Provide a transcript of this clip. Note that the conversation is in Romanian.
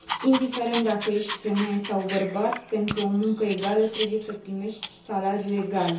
Indiferent dacă ești femeie sau bărbat, pentru o muncă egală trebuie să primești salariu egal.